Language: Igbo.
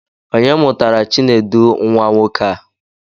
Onye mụtara Chinedu nwa nwoke a?